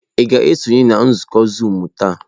Ị ga-esonye na nzukọ zuumu taa?